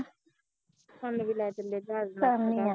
ਸਾਨੂੰ ਵੀ ਲੈ ਚਲਿਓ ਜਹਾਜ ਨਾਲ਼